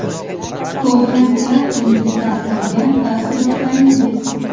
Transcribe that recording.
Ko‘rgan teatringizdan olgan taassurotlaringiz?